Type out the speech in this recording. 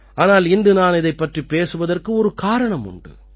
ஆனால் இன்று நான் இதைப் பற்றிப் பேசுவதற்கு ஒரு காரணம் உண்டு